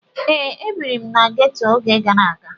Ee, ebiri m na ghetto oge gara aga.